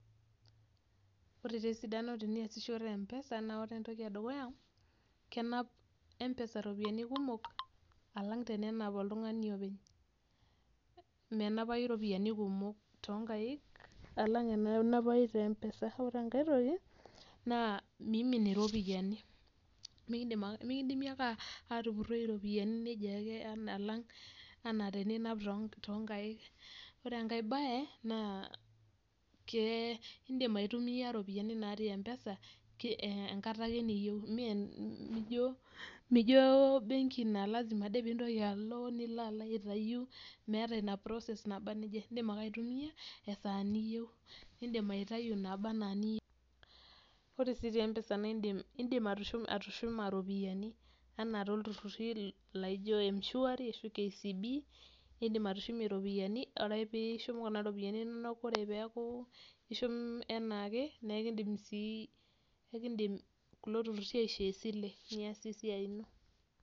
Wore taa esidano teniasishore Mpesa naa wore entoki edukuya. Kenap mpesa iropiyani kumok alang tenenap oltungani openy, menapai iropiyani kumok toonkaik alang enaa enanapai te Mpesa. Wore enkae toki, naa miimim iropiyani, mikindimi ake aatupuroi iropiyani nejia ake alang enaa teninap toonkaik. Wore enkae baye, naa iindim aitumia iropiyani natii Mpesa enkata ake niyieu, mee mijo ebenki naa lasima ade pee ilo, nilo aitayu, meeta ina process naba nejia. iindim ake aitumia esaa niyieu, niidim aitayu inaaba ena iniyieu. Wore sii te Mpesa naa iindim atushuma iropiyiani enaa tooltururi laijo mshwari ashu KCB, iindim atushumie iropiyani wore pee ishum kuna ropiyani inonok wore pee eaku ishum enaake. Naa eekindim sii kulo turruri aishoo esile niasie esia ino.